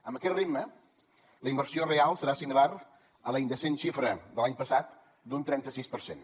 amb aquest ritme la inversió real serà similar a la indecent xifra de l’any passat d’un trenta sis per cent